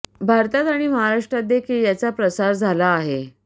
भारतात आणि महाराष्ट्रात देखील याचा प्रसार झाला आहे